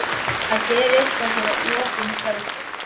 Að gera eitthvað fyrir opnum tjöldum